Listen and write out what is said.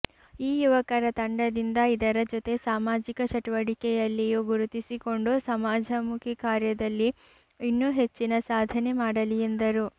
ಈ ಯುವಕರ ತಂಡದಿಂದ ಇದರ ಜೊತೆ ಸಾಮಾಜಿಕ ಚಟುವಟಿಕೆಯಲ್ಲಿಯೂ ಗುರುತಿಸಿಕೊಂಡು ಸಮಾಜಮುಖಿ ಕಾರ್ಯದಲ್ಲಿ ಇನ್ನೂ ಹೆಚ್ಚಿನ ಸಾಧನೆ ಮಾಡಲಿ ಎಂದರು